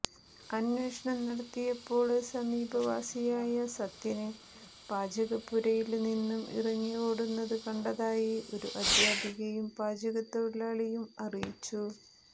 അന്വേഷണം നടത്തിയപ്പോള് സമീപവാസിയായ സത്യന് പാചകപുരയില് നിന്നും ഇറങ്ങി ഓടുന്നത് കണ്ടാതായി ഒരു അധ്യാപികയും പാചകതൊഴിലാളിയും അറിയിച്ചു